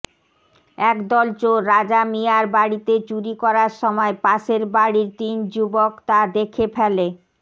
একদল চোর রাজা মিয়ার বাড়িতে চুরি করার সময় পাশের বাড়ির তিন যুবক তা দেখে ফেলে